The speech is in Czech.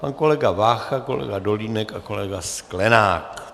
Pan kolega Vácha, kolega Dolínek a kolega Sklenák.